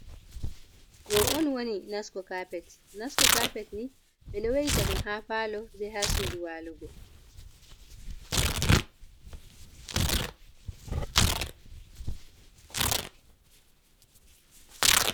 Ɗo on woni nasco carpet, nasco carpet ni ɓe ɗo weita ɗum ha palo, be ha sudu walugo.